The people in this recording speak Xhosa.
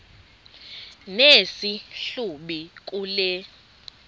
nesi hlubi kule